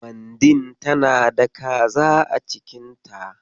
Mandin tana da kaza a cikin ta.